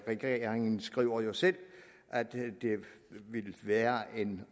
regeringen skriver jo selv at det ville være en